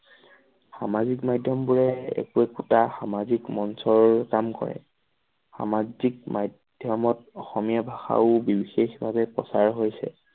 সামাজিক মাধ্যমবোৰে একো একোতা সামাজিক মঞ্চৰ কাম কৰে সামাজিক মাধ্যমত অসমীয়া ভাষাৰো বিশেষ ভাৱে প্ৰচাৰ হৈছে।